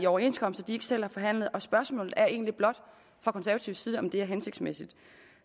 overenskomster de ikke selv har forhandlet og spørgsmålet er egentlig blot fra konservativ side om det er hensigtsmæssigt